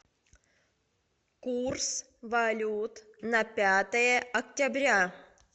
курс валют на пятое октября